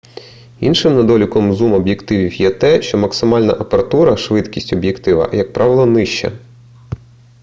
іншим недоліком зум-об'єктивів є те що максимальна апертура швидкість об'єктива як правило нижча